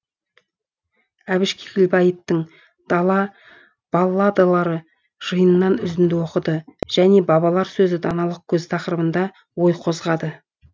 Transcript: әбіш кекілбаевтың дала балладалары жиынынан үзінді оқыды және бабалар сөзі даналық көзі тақырыбында ой қозғады